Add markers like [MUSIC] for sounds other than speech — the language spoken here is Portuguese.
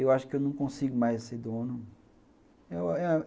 Eu acho que eu não consigo mais ser dono [UNINTELLIGIBLE]